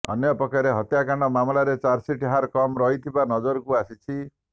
ଅନ୍ୟପକ୍ଷରେ ହତ୍ୟାକାଣ୍ଡ ମାମଲାରେ ଚାର୍ଜସିଟ ହାର କମ୍ ରହିଥିବା ନଜରକୁ ଆସିଛି